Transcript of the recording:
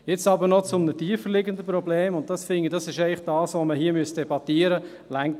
Jetzt aber noch zu einem tiefer liegenden Problem, und ich finde, das ist, was man hier eigentlich debattieren sollte.